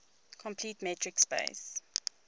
complete metric space